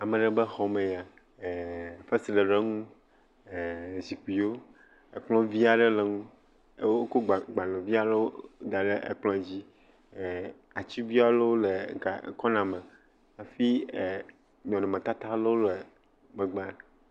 Ame aɖe be xɔ mee ya. Fesre le enu. Zikpuiwo. Ekplɔvi aɖe le ŋgɔ eye wokɔ gbale, agbalevi aɖewo da ɖe ekplɔ dzi. Atigui aɖewo le kɔna me hafi e nɔnɔmetata ɖe wo le ŋegba.